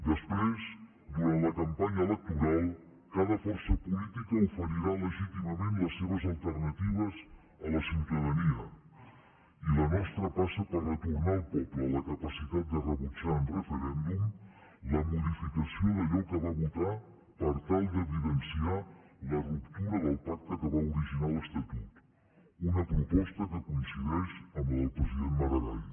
després durant la campanya electoral cada força política oferirà legítimament les seves alternatives a la ciutadania i la nostra passa per retornar al poble la capacitat de rebutjar en referèndum la modificació d’allò que va votar per tal d’evidenciar la ruptura del pacte que va originar l’estatut una proposta que coincideix amb la del president maragall